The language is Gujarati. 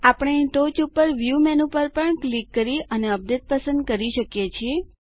આપણે ટોચ ઉપર વ્યૂ મેનુ પર પણ ક્લિક કરી અને અપડેટ પસંદ કરી શકો છો